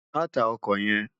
Má tá òkò yèn